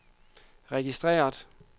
registreret